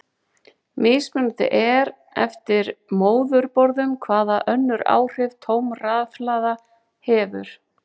Mismunandi er eftir móðurborðum hvaða önnur áhrif tóm rafhlaða hefur.